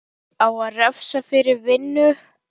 Á að refsa fyrir vinnu?